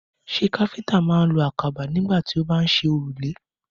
Ṣé káfíńtà máa ń lo àkàbà nígbà tó bá ń ṣe òrùlé?